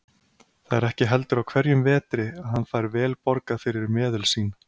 Það er ekki heldur á hverjum vetri að hann fær vel borgað fyrir meðul sín.